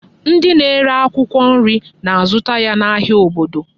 Ndị na-ere akwụkwọ nri na-azụta ya n'ahịa obodo.